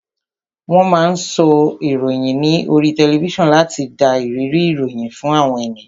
Wón máa ń sọ ìròyìn ní oríi tẹlifísàn láti dá ìrírí ìròyìn fún àwọn ènìyàn